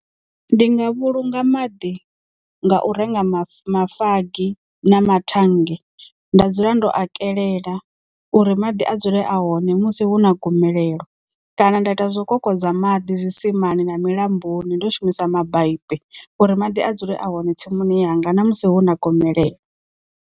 Ndi nga vhulunga maḓi nga u renga ma mafagi na mathannge nda dzula ndo a kelela uri maḓi a dzule a hone musi hu hu na gomelelo kana nda ita zwo kokodza maḓi zwisimani na milamboni ndo shumisa mabaipi uri maḓi a dzule a hone tsimuni yanga na musi hu na gomelelo.